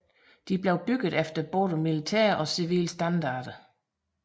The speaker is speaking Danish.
Disse blev bygget efter både militære og civile standarder